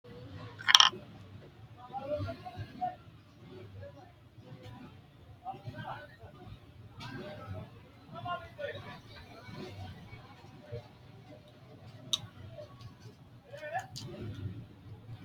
Xaphoomunni, kaa’lamanna mimmito irkisa lowo diri budenke ikkansara budu kaa’lamate uurrinshuwanke calla ikkitukkinni maammaashshu- wankeno leellishshanno Xaphoomunni, kaa’lamanna mimmito irkisa.